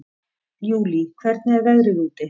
Júlí, hvernig er veðrið úti?